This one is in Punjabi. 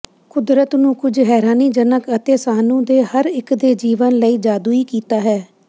ਕੁਦਰਤ ਨੂੰ ਕੁਝ ਹੈਰਾਨੀਜਨਕ ਅਤੇ ਸਾਨੂੰ ਦੇ ਹਰ ਇੱਕ ਦੇ ਜੀਵਨ ਲਈ ਜਾਦੂਈ ਕੀਤਾ ਹੈ